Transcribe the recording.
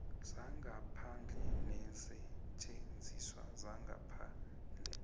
sangaphandle neensetjenziswa zangaphandle